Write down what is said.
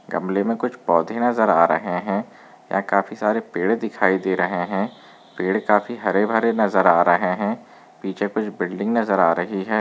गमले मे कुछ पौधे नजर आ रहे है यहाँ काफी सारे पेड़ दिखाई दे रहे है पेड़ काफी हरे भरे नजर आ रहे है पीछे कुछ बिल्डिंग नजर आ रही है।